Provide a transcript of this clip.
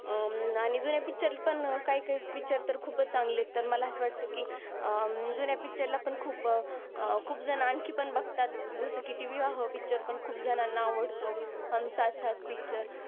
आणि जुने पिक्चर पण काही काही पिक्चर तरी खूप चांगली तर मला अस वाटतंय कि जुने पिक्चर ला पण खूप, खूप जणांची पण बगतात. जस कि ती विवाह पिक्चर खूप जनांना अवडत. हम साथ साथ है पिक्चर